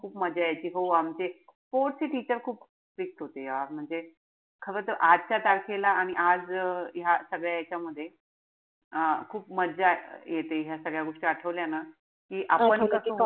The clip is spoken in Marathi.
खूप मजा यायची. हो आमचे sports चे teacher खूप strict होते यार. म्हणजे खरं तर आजच्या तारखेला आणि आज ह्या सगळ्या यांच्यामध्ये अं खूप मजा येते ह्या सगळ्या गोष्टी आठवल्या ना. कि आपण